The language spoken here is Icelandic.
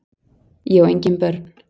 Ég á engin börn!